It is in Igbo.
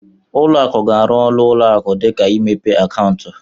Uo akụ ga-arụ ọrụ ụlọ akụ dịka imepe akaụntụ.